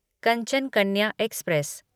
Kanchan Kanya express